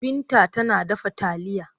Binta tana dafa taliya.